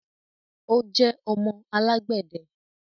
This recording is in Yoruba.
o jẹ ọmọ alagbẹdẹ.